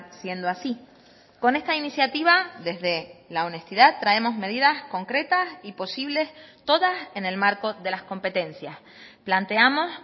siendo así con esta iniciativa desde la honestidad traemos medidas concretas y posibles todas en el marco de las competencias planteamos